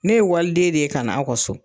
Ne ye waliden de ye ka na aw ka so.